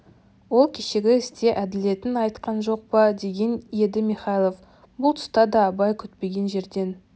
ол кешегі істе әділетін айтқан жоқ па деген еді михайлов бұл тұста да абай күтпеген жерден